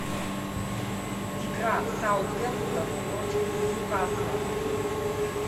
игра саутгемптон против ньюкасла